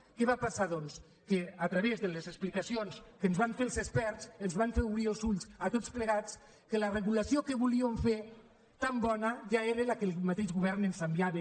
què va passar doncs que a través de les explicacions que ens van fer els experts ens van fer obrir els ulls a tots plegats que la regulació que volíem fer tan bona ja era la que el mateix govern ens enviava